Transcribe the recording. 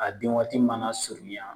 A den waati mana surunya